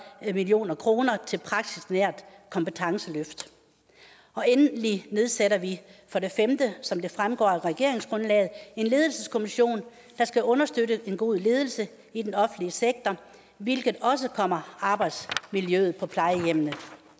million kroner til et praksisnært kompetenceløft og endelig nedsætter vi som det fremgår af regeringsgrundlaget en ledelseskommission der skal understøtte den gode ledelse i den offentlige sektor hvilket også kommer arbejdsmiljøet på plejehjemmene